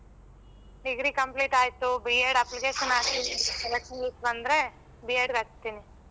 Degree complete ಆಯ್ತು B. Ed application ಹಾಕಿದಿನಿ selection ಗ್ ಬಂದ್ರೆ B. Ed ಗ್ ಹಾಕ್ತಿನಿ.